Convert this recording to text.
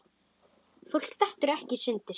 Fólk dettur ekkert í sundur.